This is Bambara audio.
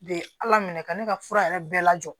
Be ala minɛ ka ne ka fura yɛrɛ bɛɛ lajɔ